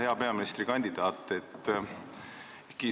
Hea peaministrikandidaat!